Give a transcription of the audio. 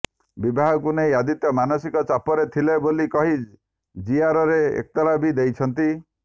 ବିବାହକୁ ନେଇ ଆଦିତ୍ୟ ମାନସିକ ଚାପରେ ଥିଲେ ବୋଲି କହି ଜିଆରରେ ଏତଲା ବି ଦେଇଛନ୍ତି